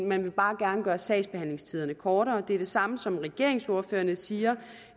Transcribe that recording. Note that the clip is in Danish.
man vil bare gerne gøre sagsbehandlingstiderne kortere det er det samme som regeringsordførerne siger